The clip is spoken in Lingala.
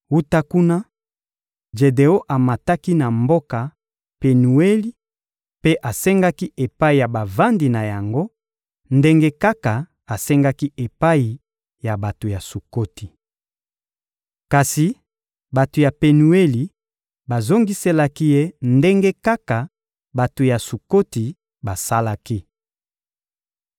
Wuta kuna, Jedeon amataki na mboka Penueli mpe asengaki epai ya bavandi na yango, ndenge kaka asengaki epai ya bato ya Sukoti. Kasi bato ya Penueli bazongiselaki ye ndenge kaka bato ya Sukoti basalaki.